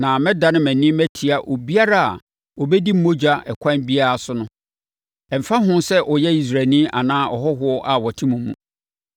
“ ‘Na mɛdane mʼani matia obiara a ɔbɛdi mogya ɛkwan biara so no; ɛmfa ho sɛ ɔyɛ Israelni anaa ɔhɔhoɔ a ɔte mo mu.